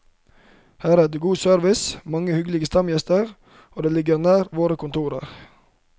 Her er det god service og mange hyggelige stamgjester, og det ligger nær våre kontorer.